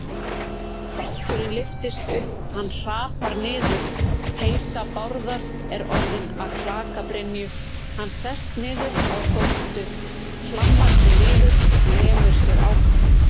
Báturinn lyftist upp, hann hrapar niður, peysa Bárðar er orðin að klakabrynju, hann sest niður á þóftu, hlammar sér niður, lemur sig ákaft.